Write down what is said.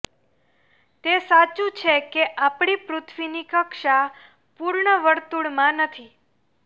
તે સાચું છે કે આપણી પૃથ્વીની કક્ષા પૂર્ણ વર્તુળમાં નથી